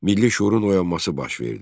Milli şüurun oyanması baş verdi.